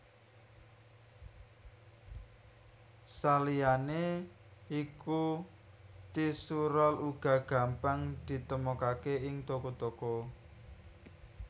Saliyané iku tisu rol uga gampang ditemokaké ing toko toko